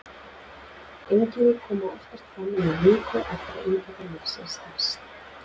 Einkenni koma oftast fram innan viku eftir að inntaka lyfsins hefst.